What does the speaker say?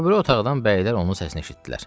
O biri otaqdan bəylər onun səsini eşitdilər.